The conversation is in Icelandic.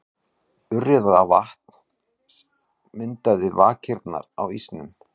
Urriðavatns myndaði vakirnar á ísnum.